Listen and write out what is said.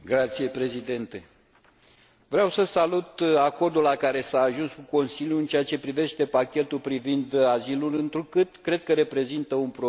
Vreau să salut acordul la care s a ajuns cu Consiliul în ceea ce privește pachetul privind azilul, întrucât cred că reprezintă un progres față de regulile existente.